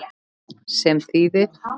Sem þýðir?